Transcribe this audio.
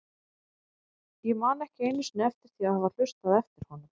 Ég man ekki einu sinni eftir því að hafa hlustað eftir honum.